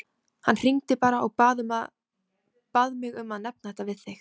Hann hringdi bara og bað mig að nefna þetta við þig.